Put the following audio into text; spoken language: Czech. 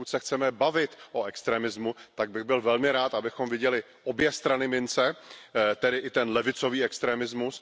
Pokud se chceme bavit o extremismu, tak bych byl velmi rád, abychom viděli obě strany mince, tedy i ten levicový extremismus.